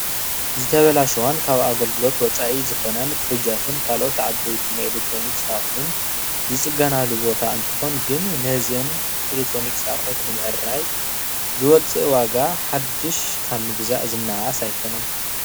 ዝተበላሸዋ ካብ ኣገልግሎት ወፃኢ ዝኮናን ፉሩጃትን ካሎኦት ዓበይቲን ናይ ኤሌክትሮኒክስ ኣቅሕት ዝፅገናሉ ቦታ እንትኮን ግን ነዘን ኤሌክትሮኒክስ ኣቅሕት ንምዓረይን ዝወፅእ ዋጋ ሓድሽ ካብ ምግዛእ ዝናኣኣስ ኣይኮነን።